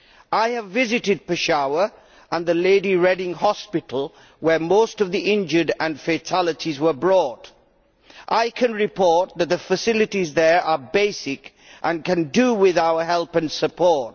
I have visited Peshawar and the Lady Reading hospital where most of the injured and fatalities were brought. I can report that the facilities there are basic, and they can do with our help and support.